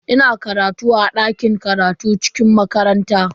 Ina karatu a dakin karatun cikin makaranta.